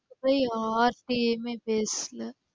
போய் யாருகிட்டயும் பேசலா.